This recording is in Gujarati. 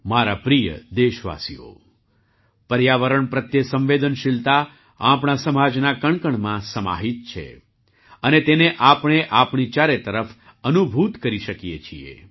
મારા પ્રિય દેશવાસીઓ પર્યાવરણ પ્રત્યે સંવેદનશીલતા આપણા સમાજના કણકણમાં સમાહિત છે અને તેને આપણે આપણી ચારે તરફ અનુભૂત કરી શકીએ છીએ